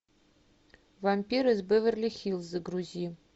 вампир из беверли хиллз загрузи